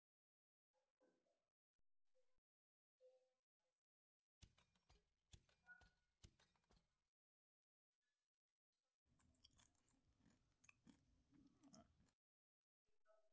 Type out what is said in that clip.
हा, आह sir झालंय असं कि, तुम्ही जसं म्हंटले कि तुमच्याकडून हा Problem आला असेल तर अं amozon मला तुम्हाला वेगळं सांगायचं काही हे नाही कारण amozon हे खुपच well known company आहे.